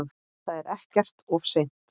Það er ekkert of seint.